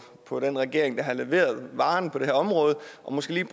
på den regering der har leveret varen på det her område og måske lige